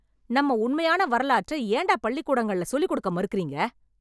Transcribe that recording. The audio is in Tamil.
நம்ம உண்மையான வரலாற்ற ஏன்டா பள்ளிக்கூடங்கள்ல சொல்லிக் குடுக்க மறுக்குறீங்க?